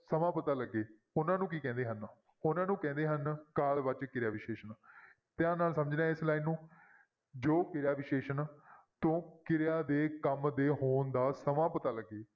ਸਮਾਂ ਪਤਾ ਲੱਗੇ ਉਹਨਾਂ ਨੂੰ ਕੀ ਕਹਿੰਦੇ ਹਨ ਉਹਨਾਂ ਨੂੰ ਕਹਿੰਦੇ ਹਨ ਕਾਲ ਵਾਚਕ ਕਿਰਿਆ ਵਿਸ਼ੇਸ਼ਣ ਧਿਆਨ ਨਾਲ ਸਮਝਣਾ ਹੈ ਇਸ line ਨੂੰ ਜੋ ਕਿਰਿਆ ਵਿਸ਼ੇਸ਼ਣ ਤੋਂ ਕਿਰਿਆ ਦੇ ਕੰਮ ਦੇ ਹੋਣ ਦਾ ਸਮਾਂ ਪਤਾ ਲੱਗੇ,